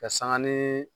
Ka sanga ni